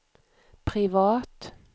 privat